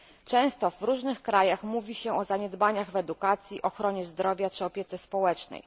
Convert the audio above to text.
Często w różnych krajach mówi się o zaniedbaniach w edukacji, ochronie zdrowia czy opiece społecznej.